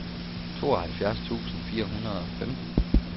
tooghalvfjerds tusind fire hundrede og femten